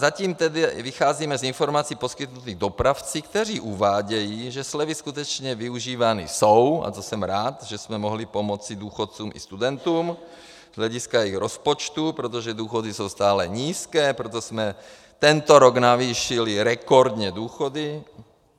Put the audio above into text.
Zatím tedy vycházíme z informací poskytnutých dopravci, kteří uvádějí, že slevy skutečně využívány jsou, a to jsem rád, že jsme mohli pomoci důchodcům i studentům z hlediska i rozpočtu, protože důchody jsou stále nízké, proto jsme tento rok navýšili rekordně důchody.